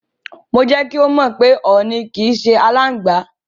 Mo jẹ́ kí ó mọ̀ pé ọ̀nì ò kí ń ṣe aláǹgbá.